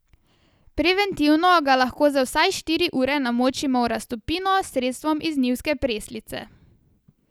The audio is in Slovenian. Preventivno ga lahko za vsaj štiri ure namočimo v raztopino s sredstvom iz njivske preslice.